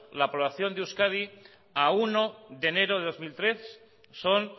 la población de euskadi a uno de enero del dos mil tres son